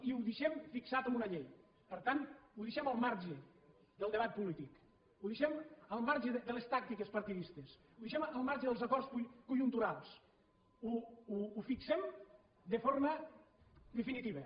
i ho deixem fixat amb una llei per tant ho deixem al marge del debat polític ho deixem al marge de les tàctiques partidistes ho deixem al marge dels acords conjunturals ho fixem de forma definitiva